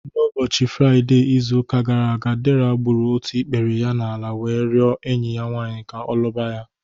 N'ụbọchị Fraide izụ ụka gara aga, Dera gbụrụ ọtụ ikpere ya n'ala wee riọ enyi ya nwanyị ka ọ lụba ya